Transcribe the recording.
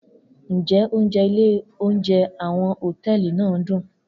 Njẹ ounjẹ ile ounjẹ awọn hotẹẹli naa dun?